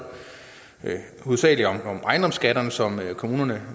hovedsagelig om ejendomsskatterne som kommunerne